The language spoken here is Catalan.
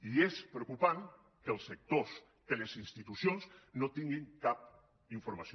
i és preocupant que els sectors que les institucions no tinguin cap informació